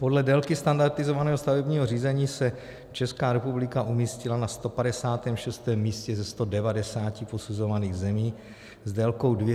Podle délky standardizovaného stavebního řízení se Česká republika umístila na 156. místě ze 190 posuzovaných zemí s délkou 246 dnů.